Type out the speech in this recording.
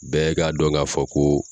Bɛɛ ka dɔn k'a fɔ ko